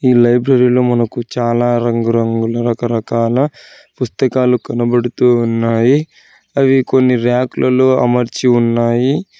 ఈ లైబ్రరీ లో మనకు చాలా రంగురంగుల రకరకాల పుస్తకాలు కనబడుతున్నాయి అవి కొన్ని రాకులలో అమర్చి ఉన్నాయి.